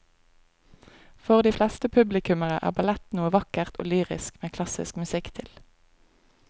For de fleste publikummere er ballett noe vakkert og lyrisk med klassisk musikk til.